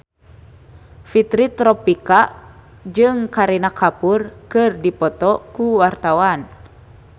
Fitri Tropika jeung Kareena Kapoor keur dipoto ku wartawan